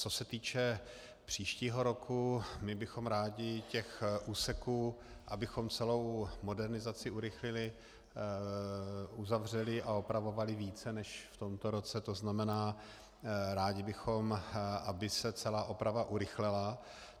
Co se týče příštího roku, my bychom rádi těch úseků, abychom celou modernizaci urychlili, uzavřeli a opravovali více než v tomto roce, to znamená, rádi bychom, aby se celá oprava urychlila.